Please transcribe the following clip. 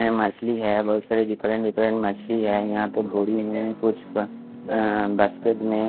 यहाँ मछली है बहोत सारी डिफ़्लेट डिफ़्लेट मछली है यहाँ कुछ का अः बास्केट में कुछ का--